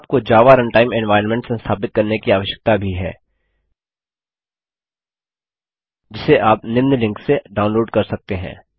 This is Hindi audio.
आपको जावा रनटाइम एनवायर्नमेंट संस्थापित करने की आवश्यकता भी है जिसे आप निम्न लिंक से डाउनलोड कर सकते हैं